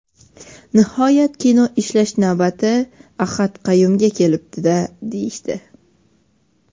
Nihoyat kino ishlash navbati Ahad Qayumga kelibdi-da, deyishdi.